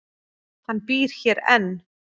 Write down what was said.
Hann býr hér enn.